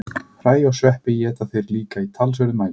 Hræ og sveppi éta þeir líka í talsverðum mæli.